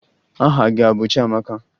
Aha gị a bụ Chiamaka?